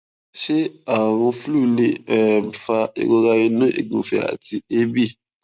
ṣé àrùn flu lè um fa ìrora inu ìgufe àti eebi